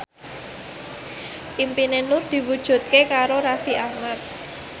impine Nur diwujudke karo Raffi Ahmad